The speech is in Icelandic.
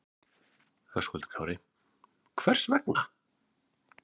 Höskuldur Kári: Hvers vegna?